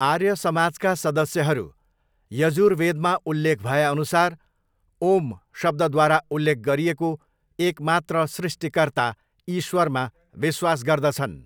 आर्य समाजका सदस्यहरू यजुर्वेदमा उल्लेख भएअनुसार 'ओम्' शब्दद्वारा उल्लेख गरिएको एक मात्र सृष्टिकर्ता ईश्वरमा विश्वास गर्दछन्।